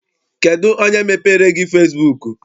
Kedụ onye mepeere gị fesibuuku?